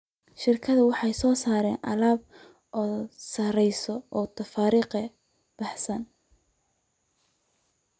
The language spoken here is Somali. Shirkaduhu waxay soo saaraan alaab aad u sarreeya oo tafaariiqda baahsan.